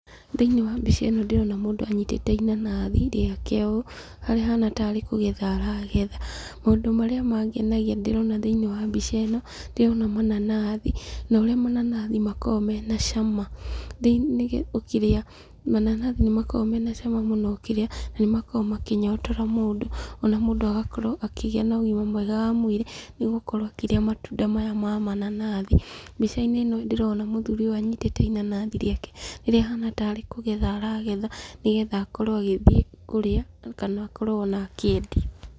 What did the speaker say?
Thĩiniĩ wa mbica ĩno ndĩrona mũndũ anyitĩte inanathi rĩake ũũ, harĩa ahana tarĩ kũgetha aragetha. Maũndũ marĩa mangenagia ndĩrona thĩiniĩ wa mbica ĩno, ndĩrona mananathi na ũrĩa mananathi makoragwo mena cama ũkĩrĩa. Mananathi nĩmakoragwo mena cama mũno ũkĩrĩa, na nĩmakoragwo makĩnyotora mũndũ, ona mũndũ agakorwo akĩgĩa na ũgima mwega wa mwĩrĩ, nĩgũkorwo akĩrĩa matunda maya ma mananathi. Mbica-inĩ ĩno ndĩrona mũthuri ũyũ anyitĩte inanathi rĩake rĩrĩa ahana tarĩ kũgetha aragetha nĩgetha akorwo agĩthiĩ kũrĩa kana akorwo ona akĩendia.